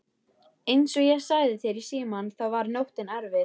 Einsog ég sagði þér í símann þá var nóttin erfið.